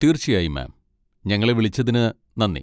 തീർച്ചയായും മാം. ഞങ്ങളെ വിളിച്ചതിന് നന്ദി.